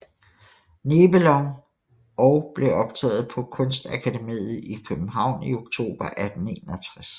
Nebelong og blev optaget på Kunstakademiet i København i oktober 1861